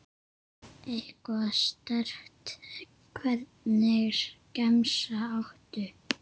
Eitthvað sterkt Hvernig gemsa áttu?